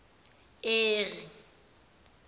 eri